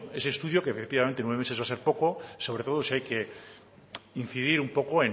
ese estudio que efectivamente nueve meses va a ser poco sobre todo si hay que incidir un poco